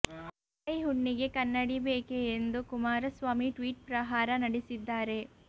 ಅಂಗೈ ಹುಣ್ಣಿಗೆ ಕನ್ನಡಿ ಬೇಕೆ ಎಂದು ಕುಮಾರಸ್ವಾಮಿ ಟ್ವೀಟ್ ಪ್ರಹಾರ ನಡೆಸಿದ್ದಾರೆ